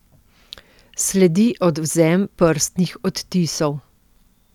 Sledi odvzem prstnih odtisov.